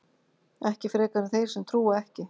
Ekki frekar en þeir sem trúa ekki.